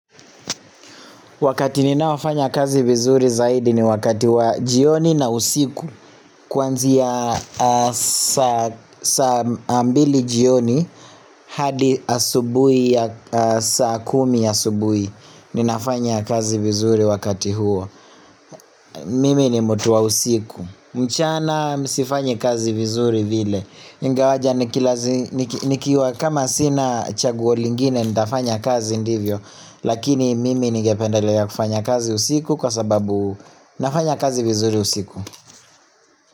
Wakati ninao fanya kazi vizuri zaidi ni wakati wa jioni na usiku Kwanzia saa mbili jioni hadi asubuhi ya saa kumi asubuhi Ninafanya kazi vizuri wakati huo Mimi ni mtu wa usiku mchana mi sifanyi kazi vizuri vile ingawaja nikiwa kama sina chaguo lingine nitafanya kazi ndivyo Lakini mimi nigependelea kufanya kazi usiku kwa sababu nafanya kazi vizuri usiku.